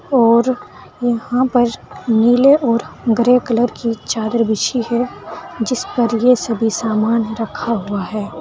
और यहां पर नीले और ग्रे कलर की चादर बिछी है जिस पर यह सभी सामान रखा हुआ है।